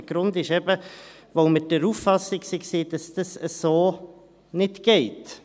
Der Grund ist eben, dass wir der Auffassung waren, dass das so nicht geht.